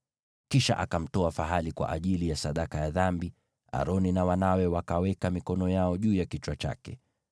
Kisha akamtoa fahali kwa ajili ya sadaka ya dhambi, nao Aroni na wanawe wakaweka mikono yao juu ya kichwa chake.